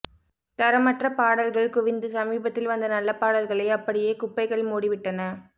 தரமற்ற பாடல்கள் குவிந்து சமீபத்தில் வந்த நல்ல பாடல்களை அப்படியே குப்பைகள் மூடிவிட்டன